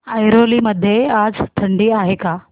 ऐरोली मध्ये आज थंडी आहे का